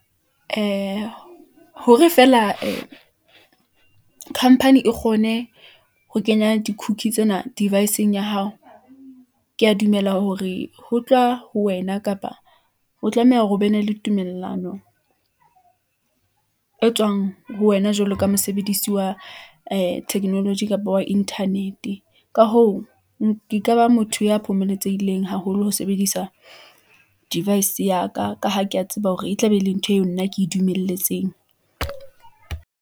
Ee , hore feela ee company e kgone ho kenya di cookie tsena device-eng ya hao . Ke ya dumela hore ho tloha ho wena, kapa o tlameha hore o be ne le tumellano e tswang ho wena, jwalo ka mosebedisi wa ee technology kapa wa internet-e . Ka hoo , ke ka ba motho ya phomotsehileng haholo ho sebedisa device ya ka, ka ha ke ya tseba hore, e tla be e le ntho eo nna ke e dumelletsweng.